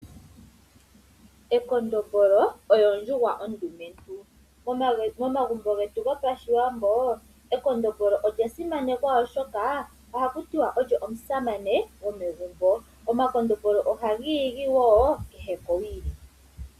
Ekondombolo oyo ondjuhwa ondumentu, momagumbo getu gopashiwambo ekondombolo olya simanekwa oshoka oha kutiwa olyo omusamane gomegumbo ,omakondombolo oha giigi woo kehe kowili.